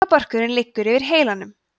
heilabörkurinn liggur yfir heilanum